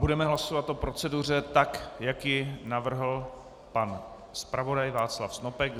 Budeme hlasovat o proceduře tak, jak ji navrhl pan zpravodaj Václav Snopek.